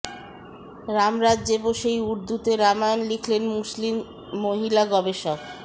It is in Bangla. রাম রাজ্যে বসেই উর্দুতে রামায়ণ লিখলেন মুসলিম মহিলা গবেষক